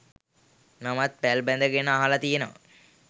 මමත් පැල් බැඳගෙන අහලා තියෙනවා